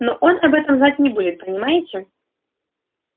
но он об этом знать не будет понимаете